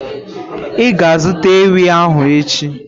Ị ga-azụta ewi ahu echi?